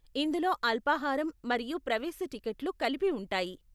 ఇందులో అల్పాహారం మరియు ప్రవేశ టిక్కెట్లు కలిపి ఉంటాయి.